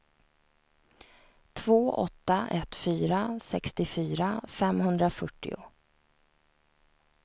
två åtta ett fyra sextiofyra femhundrafyrtio